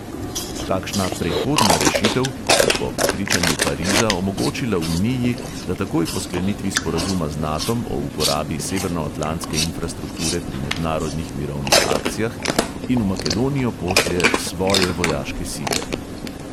Takšna "prehodna rešitev" bi po prepričanju pariza omogočila uniji, da takoj po sklenitvi sporazuma z natom o uporabi severnoatlantske infrastrukture pri mednarodnih mirovnih akcijah in v makedonijo pošlje svoje vojaške sile.